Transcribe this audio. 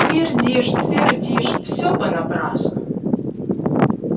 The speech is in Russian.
твердишь твердишь все понапрасну